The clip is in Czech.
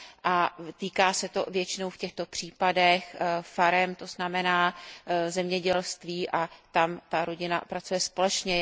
A týká se to většinou v těchto případech farem, to znamená zemědělství, kde rodina pracuje společně.